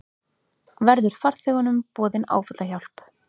Verður farþegunum boðin áfallahjálp